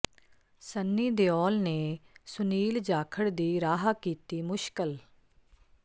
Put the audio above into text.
ਸੰਨੀ ਦਿਓਲ ਨੇ ਸੁਨੀਲ ਜਾਖੜ ਦੀ ਰਾਹ ਕੀਤੀ ਮੁਸ਼ਕਲ